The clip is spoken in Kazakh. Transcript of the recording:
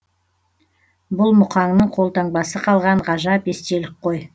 бұл мұқаңның қолтаңбасы қалған ғажап естелік қой